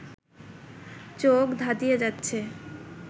চোখ ধাঁধিয়ে যাচ্ছে